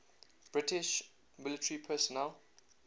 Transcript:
british military personnel